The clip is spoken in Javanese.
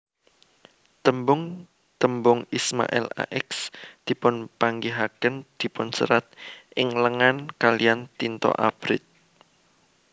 Tembung tembung Ismail Ax dipunpanggihaken dipunserat ing lengan kaliyan tinta abrit